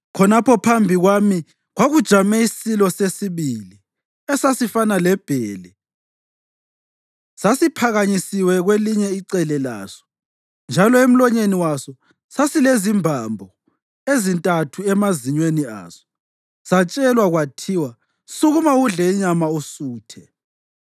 Khonapho phambi kwami kwakujame isilo sesibili esasifana lebhele. Sasiphakanyisiwe kwelinye icele laso, njalo emlonyeni waso sasilezimbambo ezintathu emazinyweni aso. Satshelwa kwathiwa, ‘Sukuma udle inyama usuthe!’